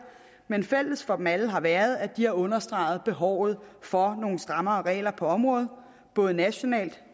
men fælles for dem alle har været at de har understreget behovet for nogle strammere regler på området både nationalt